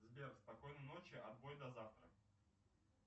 сбер спокойной ночи отбой до завтра